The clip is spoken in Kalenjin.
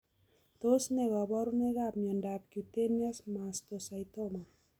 Tos ne kaborunoikab miondop cutaneous mastocytoma?